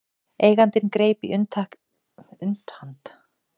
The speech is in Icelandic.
Eigandinn greip í upphandlegg mannsins og hvæsti